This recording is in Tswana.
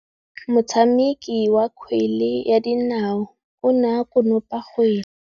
Motshameki wa kgwele ya dinaô o ne a konopa kgwele.